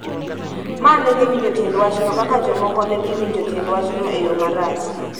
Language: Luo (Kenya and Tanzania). ma ne winjo tiend wachno kaka jomoko ne dhi winjo tiend wachno e yo marach.